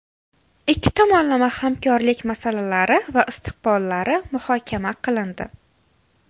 Ikki tomonlama hamkorlik masalalari va istiqbollari muhokama qilindi.